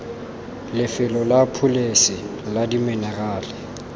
lefelo la pholese la diminerala